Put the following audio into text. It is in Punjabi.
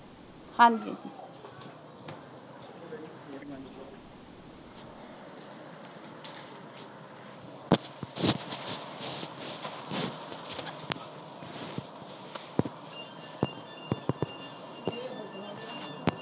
ਹਾਂਜੀ